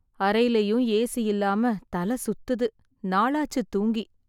அறைலயும் AC இல்லாம தலை சுத்துது. நாளாச்சு தூங்கி.